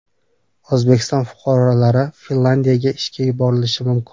O‘zbekiston fuqarolari Finlyandiyaga ishga yuborilishi mumkin.